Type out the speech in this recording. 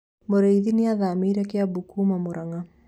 Murĩithi nĩathamĩire Kiambu kuuma Mũrang'a